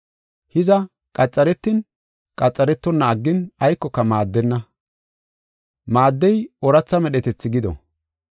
Hiza, qaxaretin qaxaretonna aggin aykoka maaddenna. Maaddey ooratha medhetethi gido.